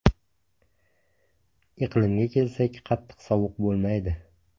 Iqlimiga kelsak, qattiq sovuq bo‘lmaydi.